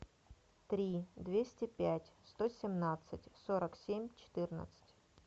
три двести пять сто семнадцать сорок семь четырнадцать